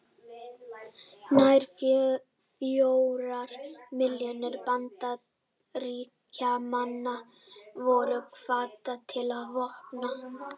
Nær fjórar milljónir Bandaríkjamanna voru kvaddar til vopna.